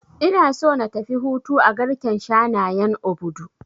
Ina so na tafi hutu a garken shanayen Obudu